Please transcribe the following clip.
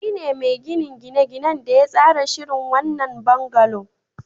Shi ne mai ginin gine-ginen da ya tsara shirin wannan bungalow.